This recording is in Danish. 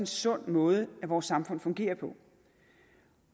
sund måde vores samfund fungerer på